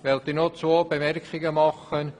Ich möchte noch zwei Bemerkungen machen.